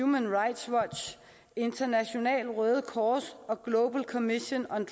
human rights watch internationalt røde kors og global commission on